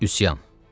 Üsyan.